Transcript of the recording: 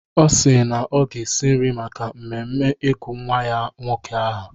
Ọ si na ọ ga-esi nri maka mmemme ịgụ nnwa ya nwoke aha.